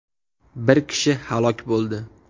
Bir kishi halok bo‘ldi.